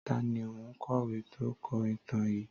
Tàní òun kọ̀wé tó kọ ìtàn yìí?